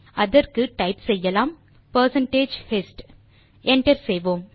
அதற்கு டைப் செய்யலாம் percentage hist160 enter செய்வோம்